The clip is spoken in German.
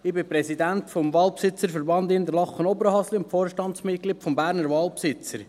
Ich bin Präsident des Waldbesitzerverbandes Interlaken Oberhasli und Vorstandsmitglied des Berner Waldbesitzers.